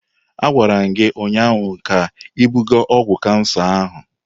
Agwara m gi ụnyaahụ ka ibuga ọgwụ kansa ahụ!